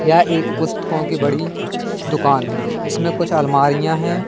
यह एक पुस्तकों की बड़ी दुकान है इसमें कुछ अलमारियां हैं।